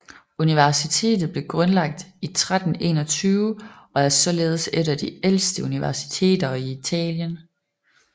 Universitetet blev grundlagt i 1321 og er således et af de ældste universiteter i Italien